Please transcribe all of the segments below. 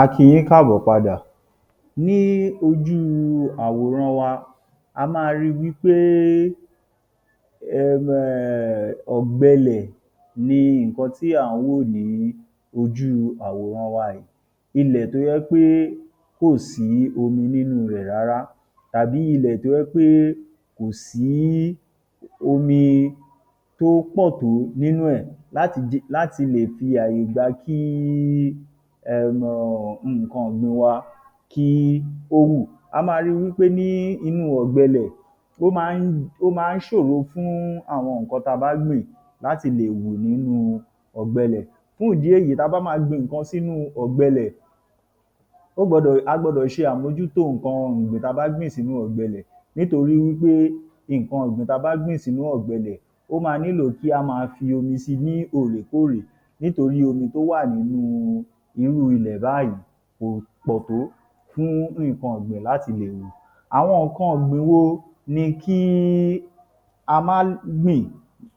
A kí i yín káàbọ̀ padà. Ní ojú àwòran wa, a máa ri wí pé um ọ̀gbẹẹlẹ̀ ni nǹkan tí à ń wò ní ojú àwòran wa yìí. Ilẹ̀ tó jẹ́ pé kò sí omi nínú rẹ̀ rárá tàbí ilẹ̀ tó jẹ́ pé kò sí omi tó pọ̀ tó nínú ẹ̀ láti lè fi àyè gba kí um nǹkan ọ̀gbìn wá kí ó wù. A máa rí wí pé ní inú ọ̀gbẹẹlẹ̀ ilẹ̀, ó máa ń ó máa ń ṣòro fún àwọn nǹkan ta bá gbìn láti lè wù nínú ọ̀gbẹẹlẹ̀. Fún ìdí èyí tá bá ma gbin nǹkan sínu ọ̀gbẹẹlẹ̀, ó gbọ́dọ̀ a gbọ́dọ̀ ṣe àmójútó nǹkan ọ̀gbìn ta bá gbìn sínú ọ̀gbẹẹlẹ̀ nítorí wí pé nǹkan ọ̀gbìn ta bá gbìn sínú ọ̀gbẹẹlẹ̀ ó ma nílò kí á ma fi omi si ni òòrèkóòrè nítorí omi tó wà nínú irú ilẹ̀ báyìí kò pọ̀ tó fún nǹkan ọ̀gbìn láti lè wù. Àwọn nǹkan ọ̀gbìn wo ni kí a má gbìn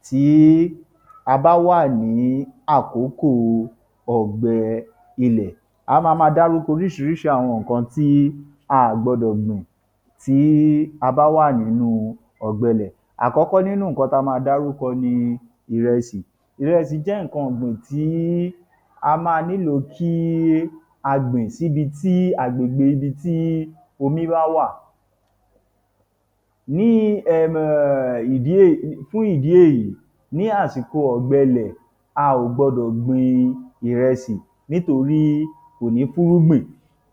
tí a bá wà ní àkókò ọ̀gbẹ ilẹ̀? A ma ma dárúkọ oríṣiríṣi àwọn nǹkan tí a à gbọ́dọ̀ gbìn tí a bá wà nínú ọ̀gbẹẹlẹ̀. Àkọ́kọ́ nínú nǹkan ta ma dárúkọ ni ìrẹsì. Ìrẹsì jẹ́ nǹkan ọ̀gbìn tí a ma nílò kí á gbìn síbi tí agbègbè ibi tí omi bá wà. Ní um ìdí èyí fún ìdí èyí, ní àsìkò ọ̀gbẹẹlẹ̀, a ò gbọ́dọ̀ gbin ìrẹsì nítorí kò ní fúnrúgbìn.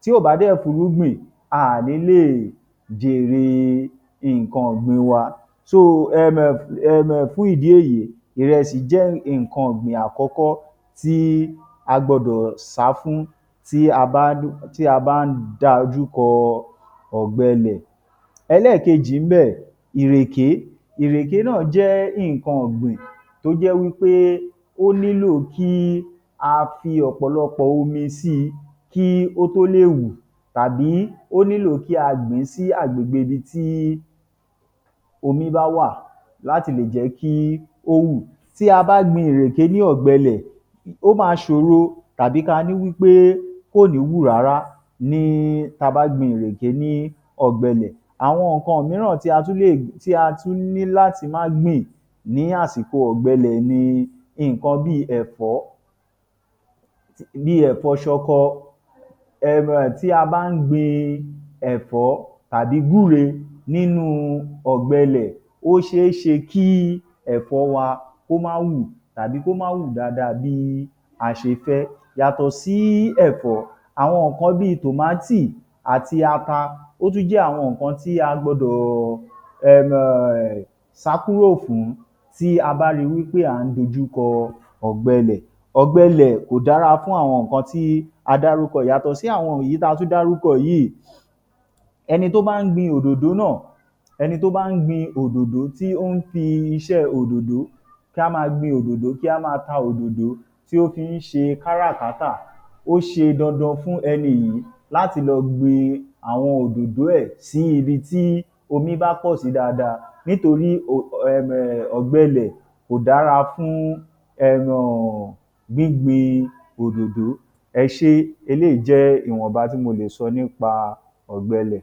Tí ò bá dẹ̀ fúnrúgbìn, a à ní lè jère nǹkan ọ̀gbìn wa. um um fún ìdí èyí, ìrẹsì jẹ́ nǹkan ọ̀gbìn àkọ́kọ́ tí a gbọ́dọ̀ sá fún tí a bá ti a bá ń dajúkọ ọ̀gbẹẹlẹ̀. Ẹlẹ́ẹ̀kejì ń bẹ̀, ìrèké. Ìrèké náà jẹ́ nǹkan ọ̀gbìn tó jẹ́ wí pé ó nílò kí a fi ọ̀pọ̀lọpọ̀ omi sí i kí ó tó lè wù, tàbí ó nílò kí a gbìn ín sí agbègbè ibi tí omi bá wà láti lẹ̀ jẹ́ kí ó wù. Tí a bá gbin ìreké ní ọ̀gbẹẹlẹ̀, ó ma ṣòro tàbí ka ní wí pé kò ní wù rárá ní tá bá gbin ìreké ní ọ̀gbẹẹlẹ̀. Àwọn nǹkan míràn tí a tún lè tí a tún ní láti má gbìn ní àsìkò ọ̀gbẹẹlẹ̀ ni nǹkan bíi ẹ̀fọ́ bíi ẹ̀fọ́ ṣọkọ. um Tí a bá ń gbin ẹ̀fọ́ tàbí gbúre nínu ọ̀gbẹẹlẹ̀, ó ṣe é ṣe kí ẹ̀fọ́ wa kó má wù, tàbí kó má wù dáadáa bí a ṣe fẹ́. Yàtọ̀ sí ẹ̀fọ́, àwọn nǹkan bíi tòmátì àti ata, ó tún jẹ́ àwọn nǹkan tí a gbọ́dọ̀ um sá kúrò fún tí a bá rí wí pé à ń dojúkọ ọ̀gbẹẹlẹ̀. Ọ̀gbẹẹlẹ̀ kò dára fún àwọn nǹkan tí a dárúkọ yìí. Yàtọ̀ sí àwọn wọ̀nyí ta tú dárúkọ yìí, ẹni tó bá ń gbin òdòdó náà ẹni tó bá ń gbin òdòdó, tí ó ń fi iṣẹ́ òdòdó- kí á ma gbin òdòdó, kí a máa ta òdòdó tí ó fi ń ṣe kárà-kátà, ó ṣe dandan fún ẹni yìí láti lọ gbìn àwọn òdòdó ẹ̀ sí ibi tí omi bá pọ̀ sí dáadáa nítorí um ọ̀gbẹẹlẹ̀ kò dára fún um gbín gbin òdòdó. Ẹ ṣé, eléyìí jẹ́ ìwọ̀nba tí mo lè sọ nípa ọ̀gbẹẹlẹ̀.